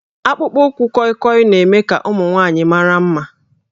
Akpụkpọ ụkwụ kọịkọị na-eme ka ụmụ nwanyị mara mma